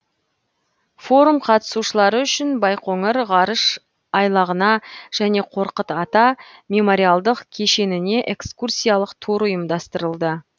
форум қатысушылары үшін байқоңыр ғарыш айлағына және қорқыт ата мемориалдық кешеніне экскурсиялық тур ұйымдастырылды